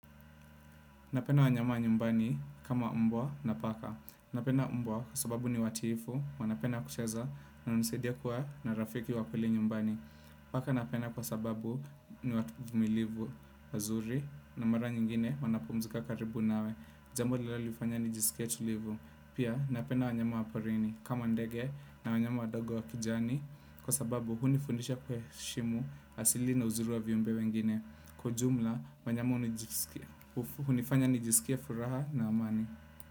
Napenda wanyama nyumbani kama mbwa na paka. Napenda mbwa kwa sababu ni watiifu, wanapenda kucheza na hunisaidia kuwa na rafiki wa kweli nyumbani. Paka napenda kwa sababu ni watu vumilivu wazuri na mara nyingine wanapumzika karibu nawe. Jambo linalonifanya nijisikie tulivu. Pia napenda wanyama wa porini kama ndege na wanyama wadogo wa kijani kwa sababu hunifundisha kuheshimu asili na uzuri wa viumbe wengine. Kwa jumla wanyama hunifanya nijisikie furaha na amani.